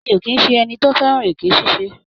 Mi ò kì í ṣe ẹni tó fẹ́ràn èké ṣíṣe.